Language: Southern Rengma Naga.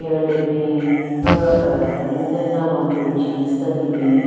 le bin lo ahh tenunyu den nya long pants jeans den le bin.